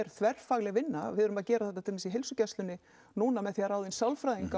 þverfagleg vinna við erum að gera þetta í heilsugæslunni núna með því að ráða inn sálfræðinga